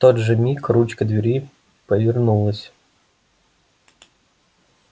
в тот же миг ручка двери повернулась